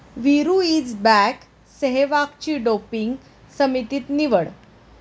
Veeru' is back, सेहवागची doping समितीत निवड